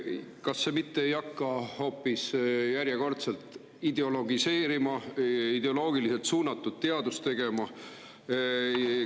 Kas see mitte ei hakka hoopis järjekordselt ideologiseerima, nii et ideoloogiliselt suunatud teadust tegema?